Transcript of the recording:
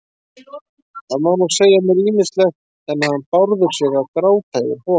Það má nú segja mér ýmislegt, en að hann Bárður sé að gráta yfir honum